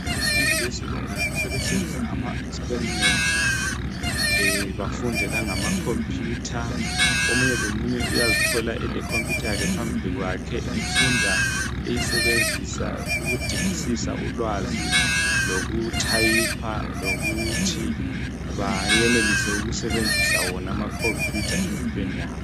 Abafundi be secondary sebesenza ama experiment bafunde la ngamkhompuyutha omunye lomunye uyazithola elekhompuyitha yakhe phambili kwakhe efunda eyisebenzisa ukudingisisa ulwazi loku thayipha Lokuthi bayenelise ukusebenzisa wona amakhompuyutha empilweni yabo